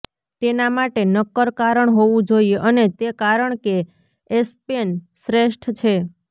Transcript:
તેના માટે નક્કર કારણ હોવું જોઈએ અને તે કારણ કે એસ્પેન શ્રેષ્ઠ છે